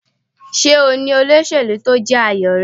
Ṣé o ní olóṣèlú tí ó jẹ́ àyò rẹ.?